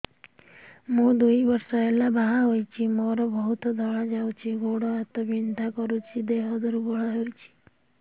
ମୁ ଦୁଇ ବର୍ଷ ହେଲା ବାହା ହେଇଛି ମୋର ବହୁତ ଧଳା ଯାଉଛି ଗୋଡ଼ ହାତ ବିନ୍ଧା କରୁଛି ଦେହ ଦୁର୍ବଳ ହଉଛି